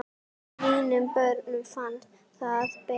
Mínum börnum finnst það betra.